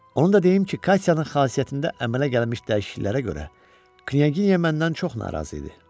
Onu da deyim ki, Katyanın xasiyyətində əmələ gəlmiş dəyişikliklərə görə Knyaginya məndən çox narazı idi.